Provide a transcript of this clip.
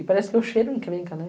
E parece que o cheiro encrenca, né?